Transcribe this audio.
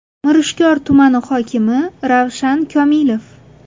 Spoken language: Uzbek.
Mirishkor tumani hokimi Ravshan Komilov!!!